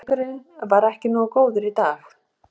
Leikurinn var ekki nógu góður í dag.